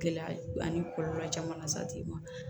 Gɛlɛya ani kɔlɔlɔ caman lase tigi ma